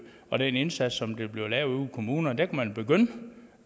og den indsats som der bliver lavet ude i kommunerne der man begynde